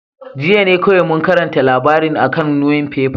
Jiya ne kowai mun karanta labarin a'kan nuefefan.